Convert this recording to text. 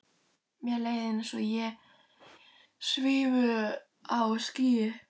Mér leið eins og ég svifi um á skýi.